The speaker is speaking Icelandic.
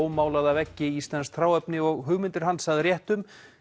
ómálaða veggi íslenskt hráefni og hugmyndir hans að réttum